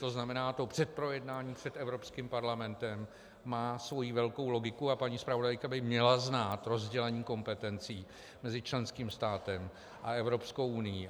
To znamená, to předprojednání před Evropským parlamentem má svoji velkou logiku, a paní zpravodajka by měla znát rozdělení kompetencí mezi členským státem a Evropskou unií.